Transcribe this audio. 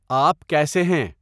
آپ کیسے ہیں